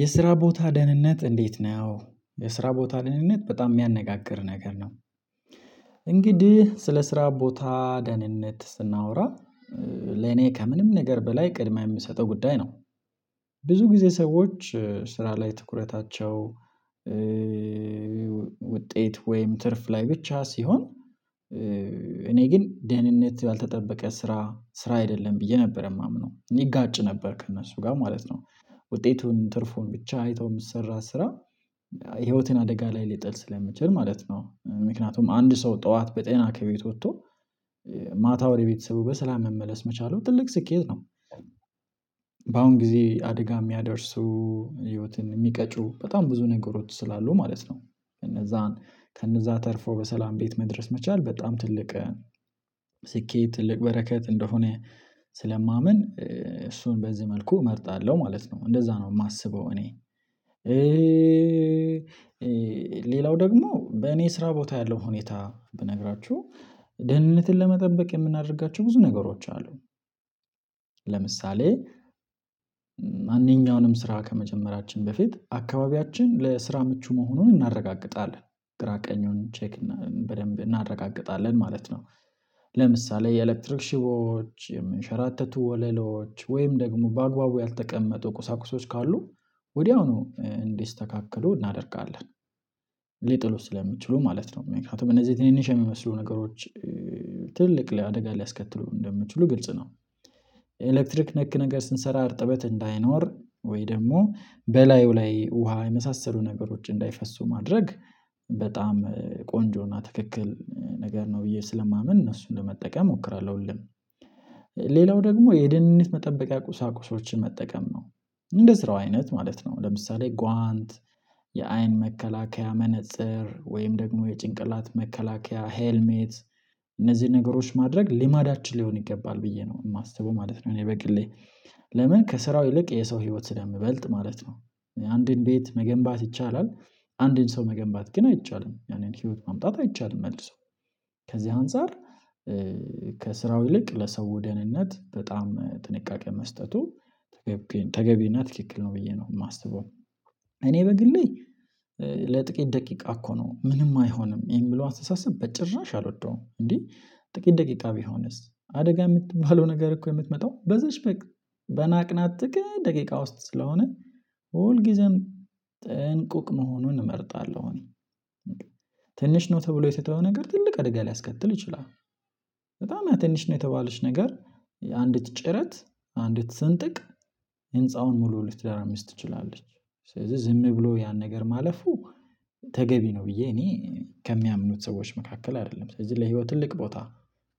የስራ ቦታ ደህንነት እንዴት? ነው የስራ ቦታ ደህንነት በጣም የሚያነጋግር ነገር ነው። እንግዲህ ስለ ስራ ቦታ ደህንነት ስናወራ ለኔ ከምንም ነገር በላይ ቅድመ የምሰጠው ጉዳይ ነው። ብዙ ጊዜ ሰዎች ስራ ላይ ትኩረታቸው ውጤት ወይም ትርፍ ላይ ብቻ ሲሆን። እኔ ግን ደህንነት ያልተጠበቀ ስራ ስራ አይደለም ብዬ ነበር የማምነው እኔ እጋጭ ነበር ከእነሱ ጋር ማለት ነው ውጤቱን ትርፉን ብቻ አይተው የምሚሰራ ስራ። ህይወትን አደጋ ላይ ሊጥል ስለሚችል ማለት ነው ምክንያቱም አንድ ሰው ጠዋት በጤና ከቤት ወጥቶ ማታ ወደ ቤተሰቡ በሰላም መመለስ መቻል ነው ትልቅ ስኬት ነው። በአሁን ጊዜ አደጋ የሚያደርሱ ህይወትን የሚቀጩ በጣም ብዙ ነገሮች ስላሉ ማለት ነው ከነዛን ከነዛ ተርፎ በሰላም ቤት መድረስ መቻል በጣም ትልቅ ስኬት ትልቅ በረከት እንደሆነ ስለማምን እሱን በዚህ መልኩ እመርጣለሁ ማለት ነው እንደዛ ነው የማስበው እኔ። ሌላው ደግሞ በእኔ ስራ ቦታ ያለው ሁኔታ ብነግራችሁ ደህንነትን ለመጠበቅ የምናደርጋቸው ብዙ ነገሮች አሉ። ለምሳሌ ማንኛውንም ስራ ከመጀመራችን በፊት አካባቢያችን ለስራ ምቹ መሆኑን እናረጋግጣለን ግራ ቀኙን ቼክ በደንብ እናረጋግጣለን ማለት ነው። ለምሳሌ የኤሌክትሪክ ሽቦዎች የምንሸራተቱ ወለሎች ወይም ደግሞ በአግባቡ ያልተቀመጡ ቁሳቁሶች ካሉ ወዲያውኑ እንዲስተካከሉ እናደርጋለን። ሊጥሉን ስለሚችሉ ማለት ነው ምክንያቱም እነዚህ የትንንሽ የሚመስሉ ነገሮች ትልልቅ ላይ አደጋ ሊያስከትሉ እንደምትችሉ ግልጽ ነው። ኤሌክትሪክ ነክ ነገር ስንሰራ አርጥበት እንዳይኖር ወይ ደግሞ በላዩ ላይ ውሃ የመሳሰሉ ነገሮች እንዳይፈሱ ማድረግ በጣም ቆንጆና ትክክል ነገር ነው ብዬ ስለማምን እነሱን ለመጠቀም እሞክራለሁ። ሌላው ደግሞ የድንነት መጠበቂያ ቁሳቁሶችን መጠቀም ነው እንደ ስራው አይነት ማለት ነው ለምሳሌ ጓንት የአይን መከላከያ መነፀር ወይም ደግሞ የጭንቅላት መከላከያ ሄልሜት እነዚህ ነገሮች ማድረግ ልማዳችን ሊሆን ይገባል ብዬ ነው የማስበው ማለት ነው። እኔ በግሌ ለምን ከስራው ይልቅ የሰው ህይወት ስለምበልጥ ማለት ነው። አንድን ቤት መገንባት ይቻላል አንዴን ሰው መገንባት ግን አይቻልም። ያንን ህይወት ማምጣት አይቻልም። መልሶ ከዚህ አንፃር ይልቅ ለሰው ወደንነት በጣም ጥንቃቄ መስጠቱ ተገቢ ተገቢና ትክክል ነው ብዬ ነው የማስበው። እኔ በግሌ ለጥቂት ደቂቃ እኮ ነው ምንም አይሆንም የሚለው አስተሳሰብ በጭራሽ አልወደውም እንዴ? ጥቂት ደቂቃ ቢሆንስ አደጋ የምትባለው ነገር እኮ የምትመጣው በዚህች በቅ በናቅናት ጥቂት ደቂቃ ውስጥ ስለሆነ ሁልጊዜም ጥንቁቅ መሆኑን እመርጣለሁ። ትንሽ ነው ተብሎ የተተወው ነገር ትልቅ አድጋ ሊያስከትል ይችላል። በጣም ትንሽ ነው የተባለች ነገር የአንዲት ጭረት አንዲት ስንጥቅ ህንፃውን ሙሉ ልትደራምስ ትችላለች። ስለዚህ ዝም ብሎ ያን ነገር ማለፉ ተገቢ ነው ብዬ እኔ ከሚያምኑት ሰዎች መካከል አይደለም ስለዚህ ለህይወት ትልቅ ቦታ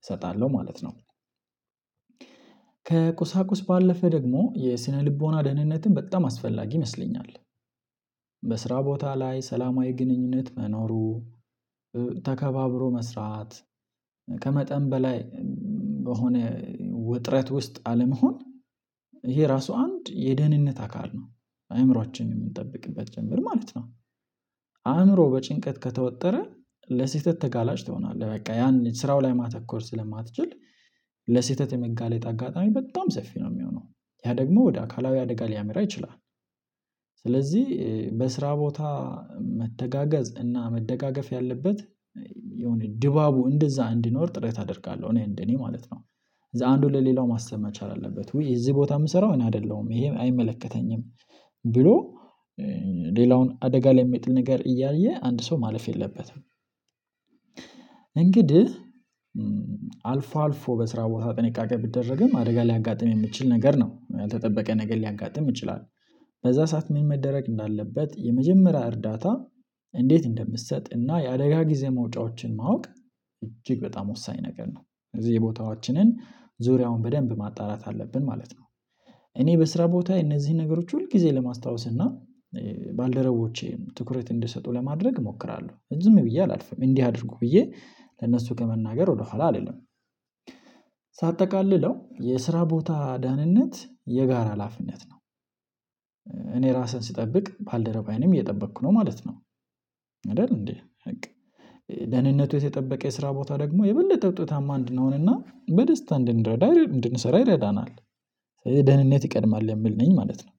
እሰጣለሁ ማለት ነው። ከቁሳቁስ ባለፈ ደግሞ የስነልቦና ደህንነትን በጣም አስፈላጊ ይመስለኛል። በስራ ቦታ ላይ ሰላማዊ ግንኙነት መኖሩ ተከባብሮ መስራት ከመጠን በላይ በሆነ ውጥረት ውስጥ አለመሆን ይሄ ራሱ አንድ የደህንነት አካል ነው አእምሮአችን የምንጠብቅበት ጀምሮ ማለት ነው። አእምሮ በጭንቀት ከተወጠረ ለስህተት ተጋላጭ ትሆናለህ በቃ ያን ስራው ላይ ማተኮር ስለማትችል ለስህተት የመጋለጥ አጋጣሚ በጣም ሰፊ ነው የሚሆነው ያ ደግሞ ወደ አካላዊ አደጋ ሊያመራ ይችላል። ስለዚህ በስራ ቦታ መተጋገዝ እና መደጋገፍ ያለበት የሆነ ድባቡ እንደዛ እንዲኖር ጥሬታ አደርጋለሁ እኔ እንደኔ ማለት ነው። እዛ አንዱን ለሌላው ማሰብ መቻል አለበት ውይ እዚህ ቦታ የምሰራው እኔ አይደለሁም ይሄ አይመለከተኝም ብሎ ሌላውን አደጋ ላይ የሚጥል ነገር እያየ አንድ ሰው ማለፍ የለበትም። እንግዲህ አልፎ አልፎ በስራ ቦታ ጥንቃቄ ቢደረግም አደጋ ሊያጋጥም የሚችል ነገር ነው ያልተጠበቀ ነገር ሊያጋጥም ይችላል። በዛ ሰዓት ምን መደረግ እንዳለበት የመጀመሪያ እርዳታ እንዴት እንደምሰጥ እና የአደጋ ጊዜ መውጫዎችን ማወቅ እጅግ በጣም ወሳኝ ነገር ነው። እዚህ የቦታዎቻችንን ዙሪያውን በደንብ ማጣራት አለብን ማለት ነው። እኔ በስራ ቦታየ እነዚህን ነገሮች ሁል ጊዜ ለማስታወስ እና ባልደረቦቼም ትኩረት እንዲሰጡ ለማድረግ እሞክራለሁ ዝም ብዬ አላልፍም እንዲህ አድርጉ ብዬ ለነሱ ከመናገር ወደኋላ አይደለም። ሳጠቃልለው የስራ ቦታ ዳህንነት የጋራ ላፊነት ነው። እኔ ራሴን ስጠብቅ ባልደረባዬንም እየጠበቅኩ ነው ማለት ነው። አይደል እንዴ በቃ ደህንነቱ የተጠበቀ የስራ ቦታ ደግሞ የበለጠ ውጤታማ አንድንሆን እና በደስታ እንድንረዳ እንድንሰራ ይረዳናል። ደህንነት ይቀድማል የምል ነኝ ማለት ነው